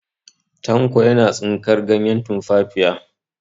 Tanko yana tsinkar ganyen tumfafiya.